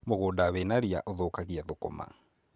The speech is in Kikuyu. Mũgũnda wĩna ria ũthũkagia thũkũma.